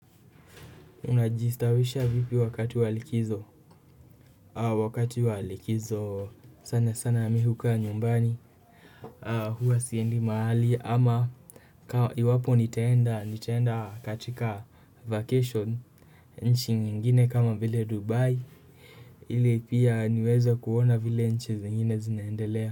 Unajistawisha vipi wakati walikizo wakati walikizo sana sana mimi hukaa nyumbani huasiendi mahali ama iwapo nitaenda katika vacation nchi ingine kama vile dubai ili pia niweze kuona vile nchi zingine zinaendelea.